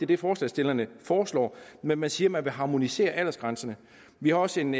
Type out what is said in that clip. det forslagsstillerne foreslår men man siger man vil harmonisere aldersgrænserne vi har også en